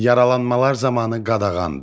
Yaralanmalar zamanı qadağandır.